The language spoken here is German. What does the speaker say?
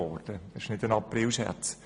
Das war kein Aprilscherz!